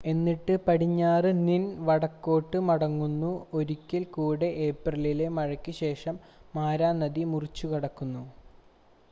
എന്നിട്ട് പടിഞ്ഞാറ് നിന്ൻ വടക്കോട്ട് മടങ്ങുന്നു ഒരിക്കൽ കൂടെ ഏപ്രിലിലെ മഴയ്ക്ക് ശേഷം മാരാ നദി മുറിച്ചുകടക്കുന്നു